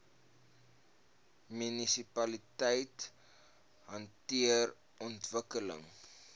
munisipaliteite hanteer ontwikkeling